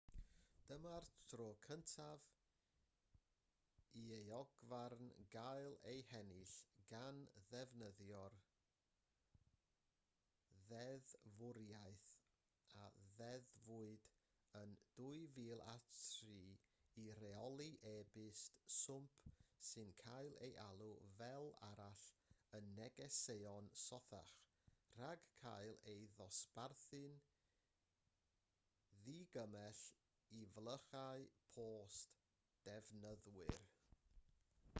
dyma'r tro cyntaf i euogfarn gael ei hennill gan ddefnyddio'r ddeddfwriaeth a ddeddfwyd yn 2003 i reoli e-byst swmp sy'n cael ei alw fel arall yn negeseuon sothach rhag cael ei ddosbarthu'n ddigymell i flychau post defnyddwyr